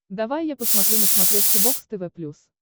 давай я посмотрю на смотрешке бокс тв плюс